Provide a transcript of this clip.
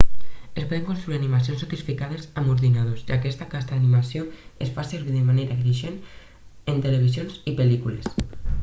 es poden construir animacions sofisticades amb ordinadors i aquesta casta d'animació es fa servir de manera creixent en televisió i pel·lícules